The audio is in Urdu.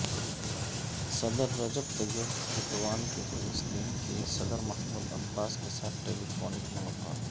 صدر رجب طیب ایردوان کی فلسطین کے صدر محمود عباس کے ساتھ ٹیلی فونک ملاقات